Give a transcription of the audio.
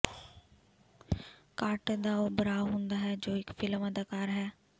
Carter ਦਾ ਉਹ ਭਰਾ ਹੁੰਦਾ ਹੈ ਜੋ ਇੱਕ ਫ਼ਿਲਮ ਅਦਾਕਾਰ ਹੈ